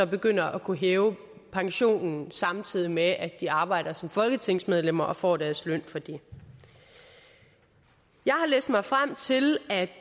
begynder at kunne hæve pensionen samtidig med at de arbejder som folketingsmedlemmer og får deres løn for det jeg har læst mig frem til at